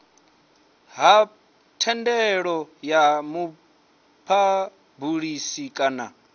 ha thendelo ya muphabulisi kana